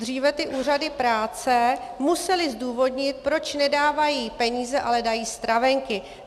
Dříve ty úřady práce musely zdůvodnit, proč nedávají peníze, ale dávají stravenky.